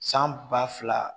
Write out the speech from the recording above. San ba fila